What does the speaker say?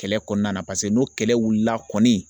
Kɛlɛ kɔnɔna na paseke n'o kɛlɛ wulila kɔni